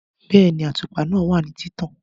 Bẹ́ẹ̀ni, àtùpà náà wà ní títàn